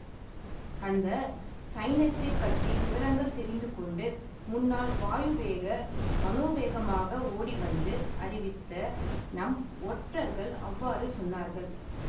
அந்த சைன்யத்தைப் பற்றிய விவரங்களை தெரிந்து கொண்டு முன்னால் வாயுவேக மனோவேகமாக ஓடிவந்து அறிவித்த நம் ஒற்றர்கள் அவ்வாறு சொன்னார்கள்